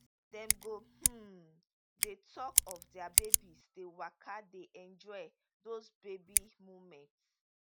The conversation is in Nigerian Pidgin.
dem go um dey tok of dia babies dey waka dey enjoy dos baby moments